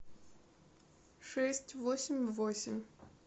шесть восемь восемь